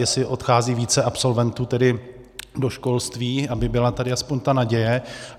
Jestli odchází více absolventů tedy do školství, aby byla tady aspoň ta naděje.